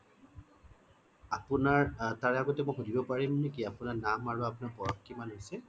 আপোনাৰ তাৰে আগতে মই সুধিব পাৰিম নেকি নাম আৰু আপোনাৰ বয়স কিমান হৈছে